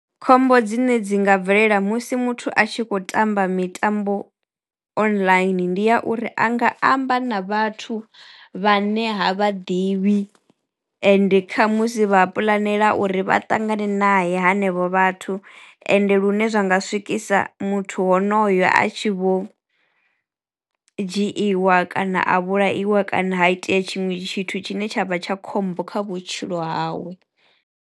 Khombo dzine dzi nga bvelela musi muthu a tshi khou tamba mitambo online ndi ya uri a nga amba na vhathu vhane ha vhaḓivhi ende khamusi vha puḽanela uri vha ṱangane naye hanevho vhathu ende lune zwa nga swikisa muthu honoyo a tshi vho dzhiiwa kana a vhulaiwa kana ha itea tshiṅwe tshithu tshine tshavha tsha khombo kha vhutshilo hawe.